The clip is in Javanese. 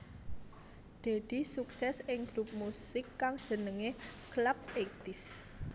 Deddy sukses ing grup musik kang jenengé Clubeighties